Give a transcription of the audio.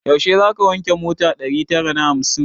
Yaushe zaka wanke mota ɗari tara na hamsin?